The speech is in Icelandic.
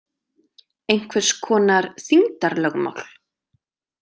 Einhvers konar þyngdarlögmál.